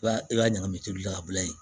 I b'a i b'a ɲagami tolila ka bila yen